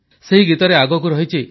ସେହି ଗୀତରେ ଆଗକୁ ଅଛି